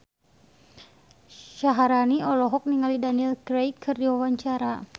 Syaharani olohok ningali Daniel Craig keur diwawancara